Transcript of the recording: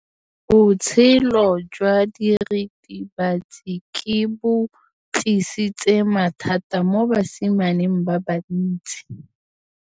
Botshelo jwa diritibatsi ke bo tlisitse mathata mo basimaneng ba bantsi.